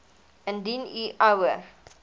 indien u ouer